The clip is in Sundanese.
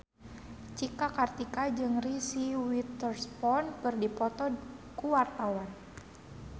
Cika Kartika jeung Reese Witherspoon keur dipoto ku wartawan